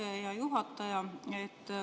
Aitäh, hea juhataja!